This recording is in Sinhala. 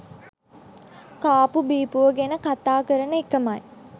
කාපු බීපුවා ගැන කතා කරන එකමයි.